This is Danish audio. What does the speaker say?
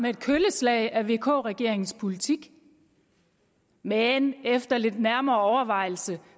af et kølleslag af vk regeringens politik men efter lidt nærmere overvejelse